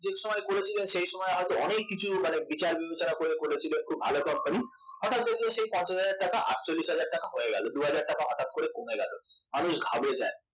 আপনি যে সময় করেছিলেন খুব বিচার বিবেচনা করে করেছিলেন খুব ভালো company হঠাৎ দেখলেন সেই পঞ্চাশ হাজার টাকা আটচল্লিশ হাজার টাকা হয়ে গেল দুহাজার টাকা হঠাৎ করে কমে গেল মানুষ ঘাবড়ে যায়